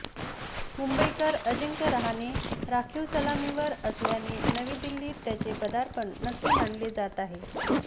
मुंबईकर अजिंक्य रहाणे राखीव सलामीवीर असल्याने नवी दिल्लीत त्याचे पदार्पण नक्की मानले जात आहे